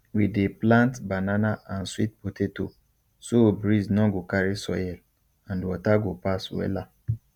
we dey plant banana and sweet potato so breeze nor go carry soil and water go pass wella